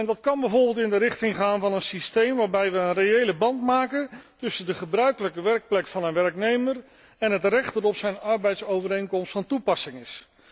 Dat kan bijvoorbeeld in de richting gaan van een systeem waarbij we een reële band maken tussen de gebruikelijke werkplek van een werknemer en het recht dat op zijn arbeidsovereenkomst van toepassing is.